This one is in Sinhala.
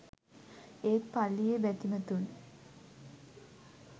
ඒත් පල්ලියේ බැතිමතුන්